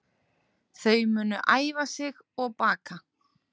Þau munu æfa sig og baka